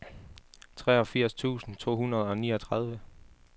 treogfirs tusind to hundrede og niogtredive